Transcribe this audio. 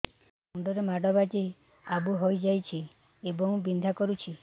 ମୁଣ୍ଡ ରେ ମାଡ ବାଜି ଆବୁ ହଇଯାଇଛି ଏବଂ ବିନ୍ଧା କରୁଛି